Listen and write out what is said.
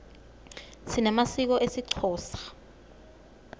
sinemasiko esixhosa